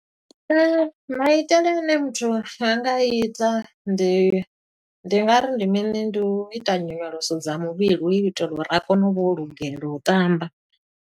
Maitele ane muthu a nga a ita, ndi ndi nga ri ndi mini, Ndi u ita nyonyoloso dza muvhili, hu u itela uri a kone u vha o lugela u tamba.